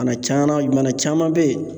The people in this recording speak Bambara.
Bana caanan i mana caman be ye